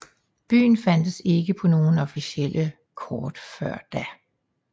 Byen fandtes ikke på nogen officielle kort før da